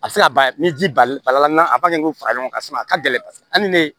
A bɛ se ka ban ni ji bali bal'an ba kɛ k'o fara ɲɔgɔn kan sisan a ka gɛlɛn paseke hali ni ne